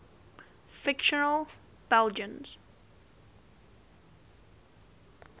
fictional belgians